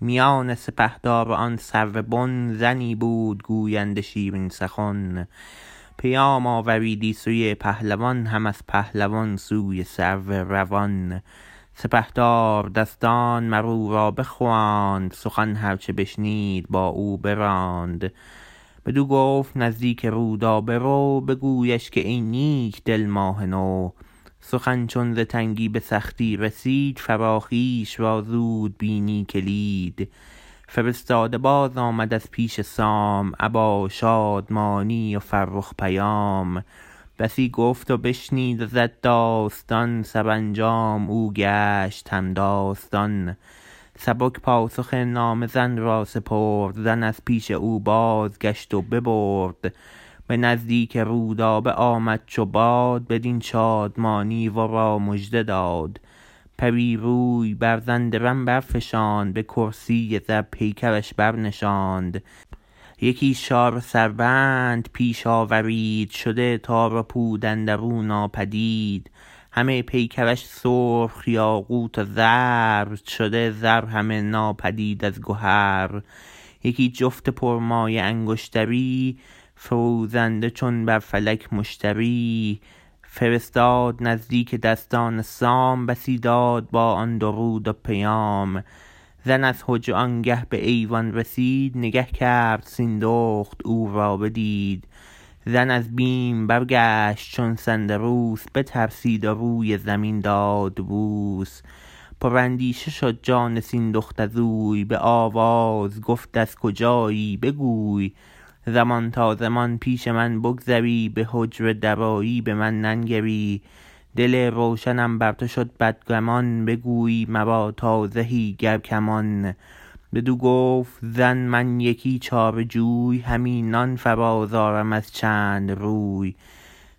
میان سپهدار و آن سرو بن زنی بود گوینده شیرین سخن پیام آوریدی سوی پهلوان هم از پهلوان سوی سرو روان سپهدار دستان مر او را بخواند سخن هر چه بشنید با او براند بدو گفت نزدیک رودابه رو بگویش که ای نیک دل ماه نو سخن چون ز تنگی به سختی رسید فراخیش را زود بینی کلید فرستاده باز آمد از پیش سام ابا شادمانی و فرخ پیام بسی گفت و بشنید و زد داستان سرانجام او گشت همداستان سبک پاسخ نامه زن را سپرد زن از پیش او بازگشت و ببرد به نزدیک رودابه آمد چو باد بدین شادمانی ورا مژده داد پری روی بر زن درم برفشاند به کرسی زر پیکرش برنشاند یکی شاره سربند پیش آورید شده تار و پود اندرو ناپدید همه پیکرش سرخ یاقوت و زر شده زر همه ناپدید از گهر یکی جفت پر مایه انگشتری فروزنده چون بر فلک مشتری فرستاد نزدیک دستان سام بسی داد با آن درود و پیام زن از حجره آنگه به ایوان رسید نگه کرد سیندخت او را بدید زن از بیم برگشت چون سندروس بترسید و روی زمین داد بوس پر اندیشه شد جان سیندخت ازوی به آواز گفت از کجایی بگوی زمان تا زمان پیش من بگذری به حجره درآیی به من ننگری دل روشنم بر تو شد بدگمان بگویی مرا تا زهی گر کمان بدو گفت زن من یکی چاره جوی همی نان فراز آرم از چند روی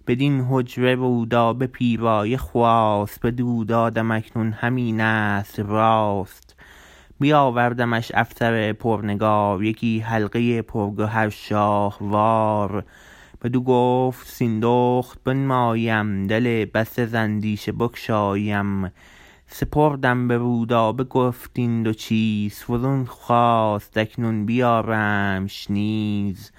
بدین حجره رودابه پیرایه خواست بدو دادم اکنون همینست راست بیاوردمش افسر پرنگار یکی حلقه پرگوهر شاهوار بدو گفت سیندخت بنمایی ام دل بسته ز اندیشه بگشایی ام سپردم به رودابه گفت این دو چیز فزون خواست اکنون بیارمش نیز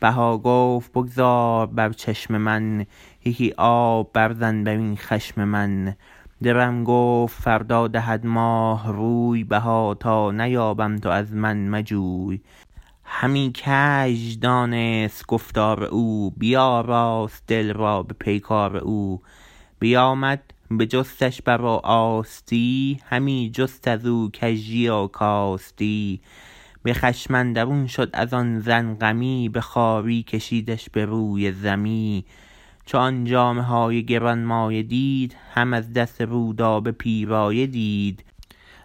بها گفت بگذار بر چشم من یکی آب بر زن برین خشم من درم گفت فردا دهد ماه روی بها تا نیابم تو از من مجوی همی کژ دانست گفتار او بیاراست دل را به پیکار او بیامد بجستش بر و آستی همی جست ازو کژی و کاستی به خشم اندرون شد ازان زن غمی به خواری کشیدش بروی زمی چو آن جامه های گرانمایه دید هم از دست رودابه پیرایه دید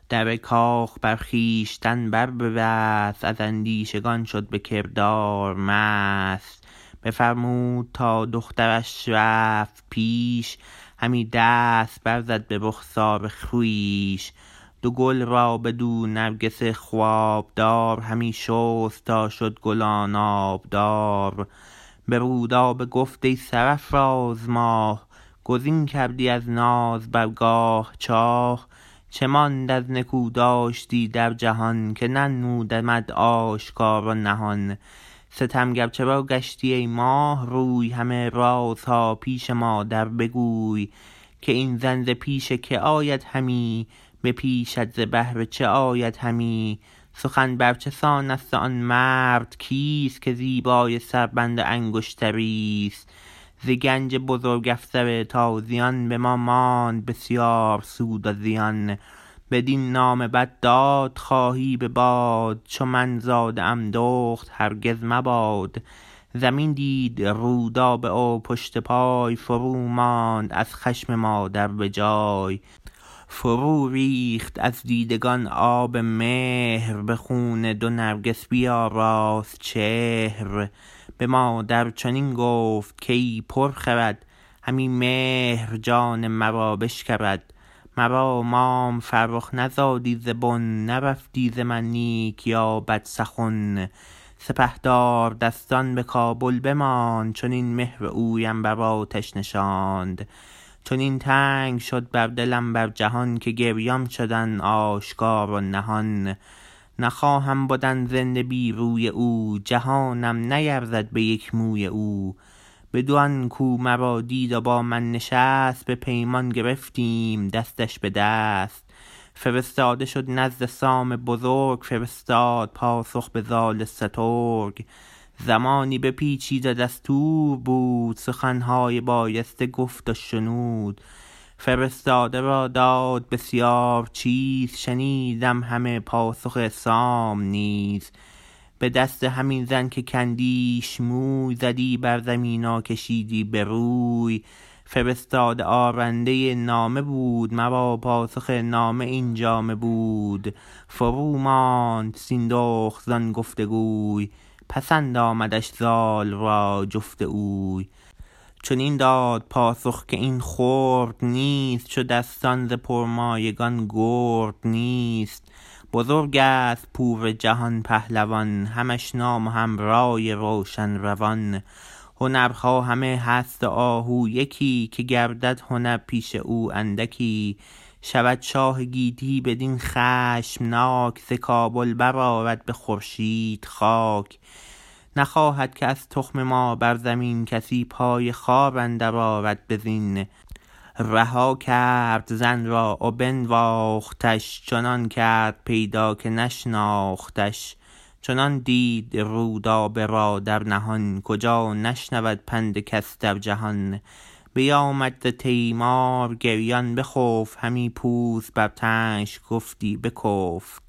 در کاخ بر خویشتن بر ببست از اندیشگان شد به کردار مست بفرمود تا دخترش رفت پیش همی دست برزد به رخسار خویش دو گل را به دو نرگس خوابدار همی شست تا شد گلان آبدار به رودابه گفت ای سرافراز ماه گزین کردی از ناز برگاه چاه چه ماند از نکو داشتی در جهان که ننمودمت آشکار و نهان ستمگر چرا گشتی ای ماه روی همه رازها پیش مادر بگوی که این زن ز پیش که آید همی به پیشت ز بهر چه آید همی سخن بر چه سانست و آن مرد کیست که زیبای سربند و انگشتریست ز گنج بزرگ افسر تازیان به ما ماند بسیار سود و زیان بدین نام بد دادخواهی به باد چو من زاده ام دخت هرگز مباد زمین دید رودابه و پشت پای فرو ماند از خشم مادر به جای فرو ریخت از دیدگان آب مهر به خون دو نرگس بیاراست چهر به مادر چنین گفت کای پر خرد همی مهر جان مرا بشکرد مرا مام فرخ نزادی ز بن نرفتی ز من نیک یا بد سخن سپهدار دستان به کابل بماند چنین مهر اویم بر آتش نشاند چنان تنگ شد بر دلم بر جهان که گریان شدم آشکار و نهان نخواهم بدن زنده بی روی او جهانم نیرزد به یک موی او بدان کو مرا دید و بامن نشست به پیمان گرفتیم دستش بدست فرستاده شد نزد سام بزرگ فرستاد پاسخ به زال سترگ زمانی بپیچید و دستور بود سخنهای بایسته گفت و شنود فرستاده را داد بسیار چیز شنیدم همه پاسخ سام نیز به دست همین زن که کندیش موی زدی بر زمین و کشیدی به روی فرستاده آرنده نامه بود مرا پاسخ نامه این جامه بود فروماند سیندخت زان گفت گوی پسند آمدش زال را جفت اوی چنین داد پاسخ که این خرد نیست چو دستان ز پرمایگان گرد نیست بزرگست پور جهان پهلوان همش نام و هم رای روشن روان هنرها همه هست و آهو یکی که گردد هنر پیش او اندکی شود شاه گیتی بدین خشمناک ز کابل برآرد به خورشید خاک نخواهد که از تخم ما بر زمین کسی پای خوار اندر آرد به زین رها کرد زن را و بنواختش چنان کرد پیدا که نشناختش چنان دید رودابه را در نهان کجا نشنود پند کس در جهان بیامد ز تیمار گریان بخفت همی پوست بر تنش گفتی بکفت